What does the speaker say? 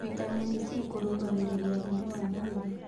Vĩtamenĩ c kũrũgagĩrĩrĩa hinya wa mwĩrĩ